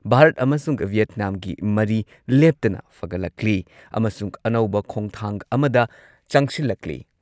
ꯚꯥꯔꯠ ꯑꯃꯁꯨꯡ ꯚꯤꯌꯦꯠꯅꯥꯝꯒꯤ ꯃꯔꯤ ꯂꯦꯞꯇꯅ ꯐꯒꯠꯂꯛꯂꯤ ꯑꯃꯁꯨꯡ ꯑꯅꯧꯕ ꯈꯣꯡꯊꯥꯡ ꯑꯃꯗ ꯆꯪꯁꯤꯜꯂꯛꯂꯤ ꯫